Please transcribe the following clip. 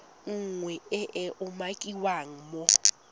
nngwe e e umakiwang mo